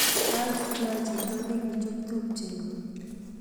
kakiityaach chito nekichup tupchetnyi